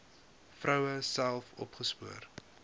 vroue self opgespoor